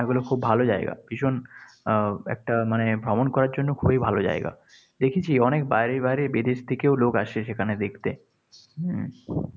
এগুলো খুব ভালো জায়গা। ভীষণ আহ একটা মানে ভ্রমণ করার জন্য খুবই ভালো জায়গা। দেখেছি অনেক বাইরে বাইরে বিদেশ থেকেও লোক আসে সেখানে দেখতে। হম